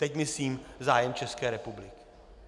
Teď myslím zájem České republiky.